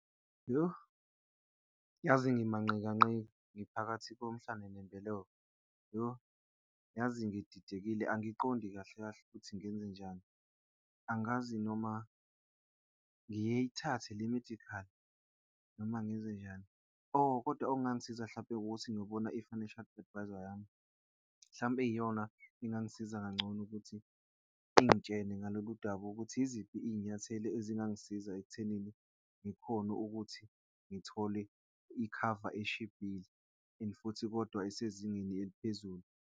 Yoh, yazi ngimanqikanqika, ngiphakathi ngomhlano nembeleko. Yoh, yazi ngididekile, angiqondi kahle kahle ukuthi ngenzenjani, angazi noma ngiyithathe le-medical noma ngenzenjani. Oh, kodwa okungangisiza hlampe ukuthi ngiyobona i-financial advisor yami mhlampe yiyona engangisiza kangcono ukuthi ingitshele ngalolu daba ukuthi yiziphi izinyathelo ezingangisiza ekuthenini ngikhone ukuthi ngithole ikhava eshibhile and futhi kodwa esezingeni eliphezulu.